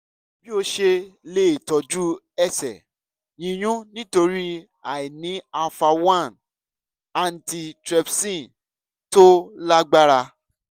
bí o ṣe lè tọjú ẹsẹ̀ yíyún nítorí àìní alpha one antitrypsin tó lágbára